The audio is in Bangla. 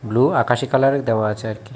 ব্লু আকাশী কালারের দেওয়া আছে আর কি।